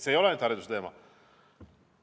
See ei ole ainult hariduse teema.